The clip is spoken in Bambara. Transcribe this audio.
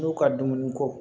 N'u ka dumuni ko